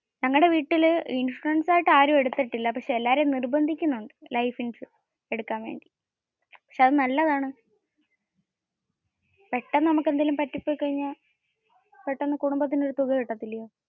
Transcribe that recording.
ഞങ്ങടെ വീട്ടിൽ ഇൻഷുറൻസ് ആയിട്ട് ആരും എടുത്തിട്ടില്ല. പക്ഷെ എല്ലാരേം നിര്ബന്ധിക്കുന്നുണ്ട് life ഇൻഷുറൻസ് എടുക്കാൻ വേണ്ടി. പക്ഷെ അത് നല്ലതാണു. പെട്ടന് നമ്മുക് എന്തേലും പറ്റിപ്പോയി കഴിഞ്ഞാൽ പെട്ടന്ന് കുടുംബത്തിന് ഒരു തുക കിട്ടത്തില്ലേ?